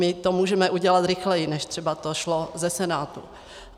My to můžeme udělat rychleji, než třeba to šlo ze Senátu.